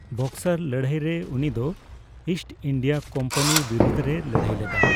ᱵᱚᱠᱥᱟᱨ ᱞᱟᱹᱲᱦᱟᱹᱭ ᱨᱮ ᱩᱱᱤᱫᱚ ᱤᱥᱴ ᱤᱱᱰᱤᱭᱟ ᱠᱳᱢᱯᱟᱱᱤ ᱵᱤᱨᱩᱫᱷ ᱨᱮᱭ ᱞᱟᱹᱲᱦᱟᱹᱭ ᱞᱮᱫᱟ ᱾